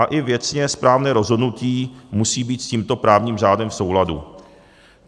A i věcně správné rozhodnutí musí být s tímto právním řádem v souladu.